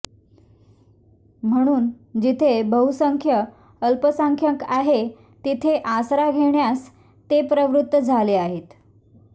म्हणून जिथे बहुसंख्य अल्पसंख्यांक आहे तिथे आसरा घेण्यास ते प्रवृत्त झाले आहेत